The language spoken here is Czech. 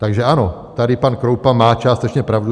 Takže ano, tady pan Kroupa má částečně pravdu.